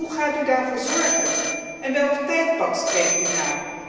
Hoe gaat u daarvoor zorgen en welk tijdpad streeft u na?